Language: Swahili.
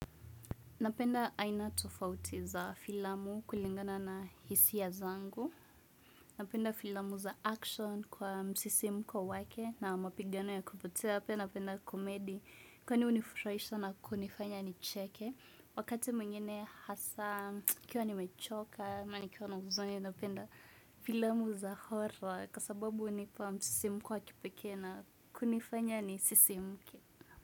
Napenda aina tofauti za filamu kulingana na hisia zangu. Napenda filamu za action kwa msisimko wake na mapigano ya kupotea. Napenda komedi kwani hunifuraisha na kunifanya nicheke. Wakati mwengine hasa, nikiwa nimechoka, ama nikiwa na huzuni napenda filamu za Hollywood. Kwa sababu hunipa msisimko wa kipekee na kunifanya nisisimke.